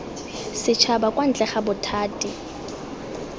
setšhaba kwa ntle ga bothati